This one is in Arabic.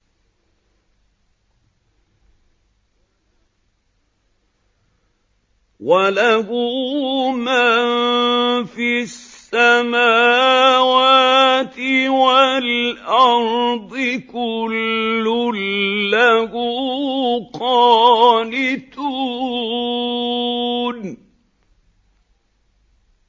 وَلَهُ مَن فِي السَّمَاوَاتِ وَالْأَرْضِ ۖ كُلٌّ لَّهُ قَانِتُونَ